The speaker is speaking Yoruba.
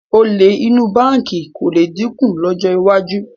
Olè inú báǹkì kò lè dínkù lọ́jọ́ iwájú